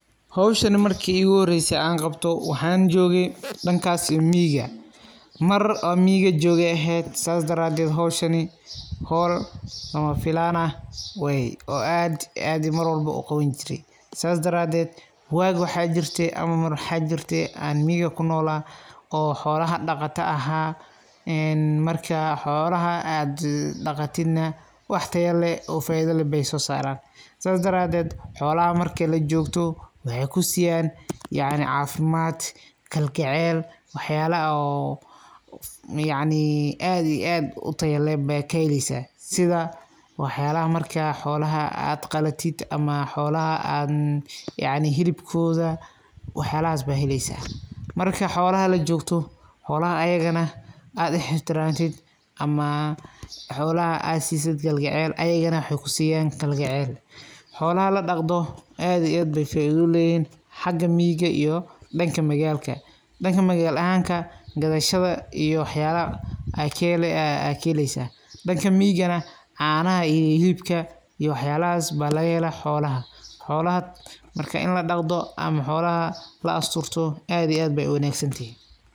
Howshan marki ikuhorese aan kabto waxan jooge dankas iyo miyiga, mar oo miyiga jogee aya eheed sidhas dareed howl lamafilan igu noqote, wagas aa miyiga jogee xoolaha aan dhaganijire, marka xoolaha dhakatid waa ina wax tayaleh oo faido leh noqtan sidhas dareed xoolaha marki lajogto waxay kusiyan kaljecel sidha aad kalatid yacni sidha hilibka, marka adhigana lajogtid waina xooladha aa daryelto sidhas dareed aad iyo aad uwanagsantahay.